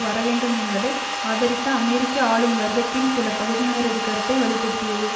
வரவேண்டும் என்பதை ஆதரித்த அமெரிக்க ஆளும் வர்க்கத்தின் சில பகுதியினரது கருத்தை வலுப்படுத்தியது